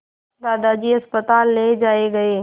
दादाजी अस्पताल ले जाए गए